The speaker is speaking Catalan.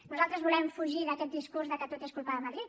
nosaltres volem fugir d’aquest discurs que tot és culpa de madrid